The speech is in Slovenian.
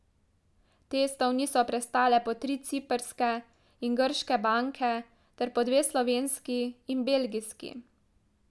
Testov niso prestale po tri ciprske in grške banke ter po dve slovenski in belgijski.